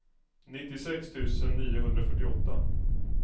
nittiosex tusen niohundrafyrtioåtta